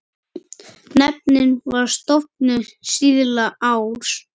Nefndin var stofnuð síðla árs